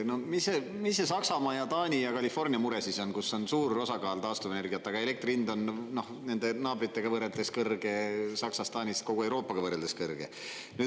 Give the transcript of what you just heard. No mis see Saksamaa ja Taani ja California mure siis on, kus on suur osakaal taastuvenergiat, aga elektri hind on nende naabritega võrreldes kõrge Saksas, Taanis, kogu Euroopaga võrreldes kõrge.